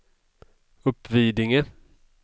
Uppvidinge